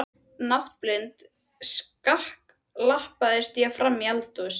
Náttblind skakklappast ég fram í eldhús.